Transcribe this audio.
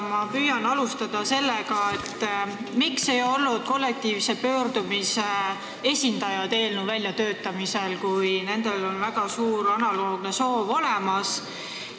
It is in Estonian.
Ma püüan alustada sellega, miks ei olnud kollektiivse pöördumise esitajaid eelnõu väljatöötamisse kaasatud, kuigi neil on väga suur soov selleks olemas.